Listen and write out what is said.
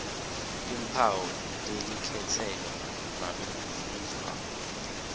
timphawu telikhetselo nalokufundvwako